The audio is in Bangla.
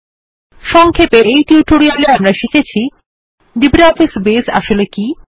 সংক্ষেপে আমরা নিম্নলিখিত জিনিসগুলো শিখেছি লিব্রিঅফিস বেস কি